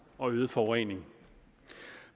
og i øget forurening